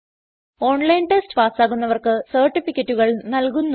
online test പാസാകുന്നവർക്ക് സർട്ടിഫിക്കറ്റുകൾ നൽകുന്നു